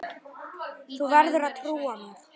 Þú verður að trúa mér.